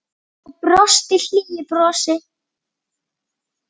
Og brosti hlýju brosi.